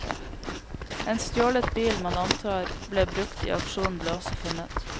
En stjålet bil man antar ble brukt i aksjonen ble også funnet.